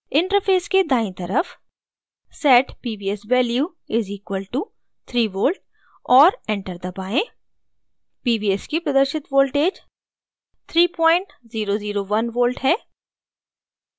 interface के दायीं तरफ set pvs value = 3v और enter दबाएँ pvs की प्रदर्शित voltage 3001v है